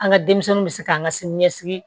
An ka denmisɛnninw bɛ se k'an ka sini ɲɛsigi